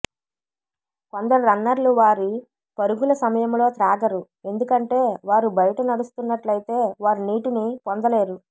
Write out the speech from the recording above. కొందరు రన్నర్లు వారి పరుగుల సమయంలో త్రాగరు ఎందుకంటే వారు బయట నడుస్తున్నట్లయితే వారు నీటిని పొందలేరు